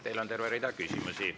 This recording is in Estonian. Teile on terve rida küsimusi.